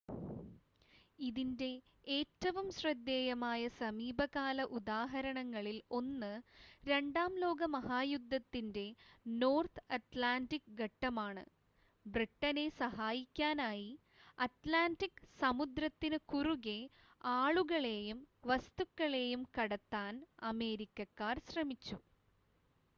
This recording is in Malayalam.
ഇതിൻ്റെ ഏറ്റവും ശ്രദ്ധേയമായ സമീപകാല ഉദാഹരണങ്ങളിൽ ഒന്ന് രണ്ടാം ലോക മഹായുദ്ധത്തിൻ്റെ നോർത്ത് അറ്റ്ലാൻറ്റിക് ഘട്ടമാണ് ബ്രിട്ടനെ സഹായിക്കാനായി അറ്റ്ലാൻറ്റിക് സമുദ്രത്തിന് കുറുകെ ആളുകളെയും വസ്തുക്കളെയും കടത്താൻ അമേരിക്കക്കാർ ശ്രമിച്ചു